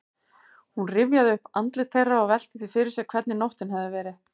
Hún rifjaði upp andlit þeirra og velti því fyrir sér hvernig nóttin hefði verið.